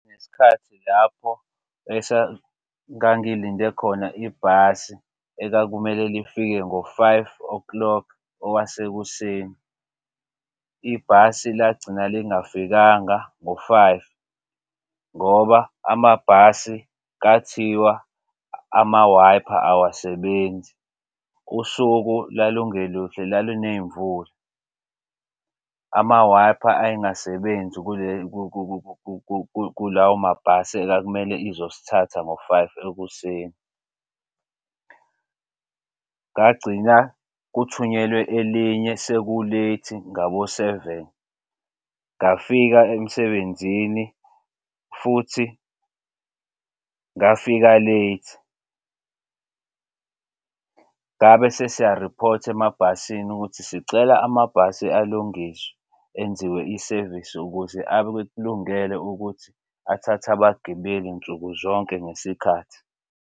Ngesikhathi lapho ngangilinde khona ibhasi ekwakumele lifike ngo-five o'clock owasekuseni. Ibhasi lagcina lingafikanga ngo-five ngoba amabhasi kathiwa amawayipha awasebenzi. Usuku lalungeluhle laluney'mvula. Amawayipha ayengasebenzi kulawo mabhasi ekwakumele izosithatha ngo-five ekuseni. Ngagcina kuthunyelwe elinye seku-late ngabo-seven. Ngafika emsebenzini futhi ngafika late. Ngabe sesiyariphotha emabhasini ukuthi sicela amabhasi alungiswe enziwe isevisi ukuze akulungele ukuthi athathe abagibeli nsuku zonke ngesikhathi.